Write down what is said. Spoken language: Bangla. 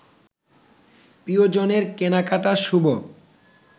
প্রিয়জনের কেনাকাটা শুভ